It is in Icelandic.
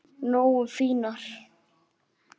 Nógu fínar?